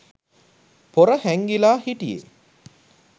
පොර හැංගිලා හිටිය.